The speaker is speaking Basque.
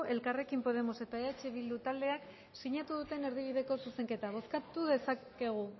elkarrekin podemos eta eh bildu taldeak sinatu duten erdibideko zuzenketa bozkatu dezakegu